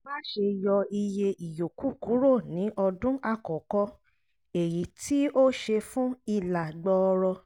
má ṣe yọ iye ìyókù kúrò ní ọdún àkọ́kọ́ (èyí tí ó ṣe fún ìlà gbọọrọ)